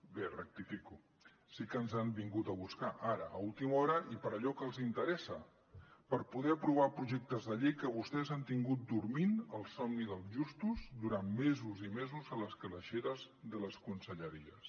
bé rectifico sí que ens han vingut a buscar ara a última hora i per allò que els interessa per poder aprovar projectes de llei que vostès han tingut dormint el somni dels justos durant mesos i mesos a les calaixeres de les conselleries